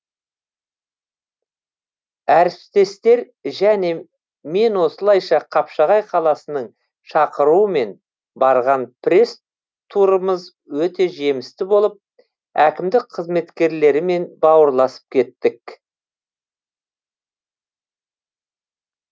әріптестер және мен осылайша қапшағай қаласының шақыруымен барған пресс турымыз өте жемісті болып әкімдік қызметкерлерімен бауырласып кеттік